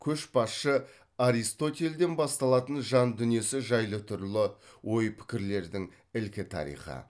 көшбасшы аристотельден басталатын жан дүниесі жайлы түрлі ой пікірлердің ілкі тарихы